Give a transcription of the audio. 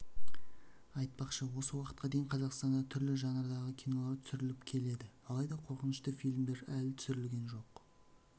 айтпақшы осы уақытқа дейін қазақстанда түрлі жанрдағы кинолар түсіріліп келеді алайда қорқынышты фильмдер әлі түсірілген жоқ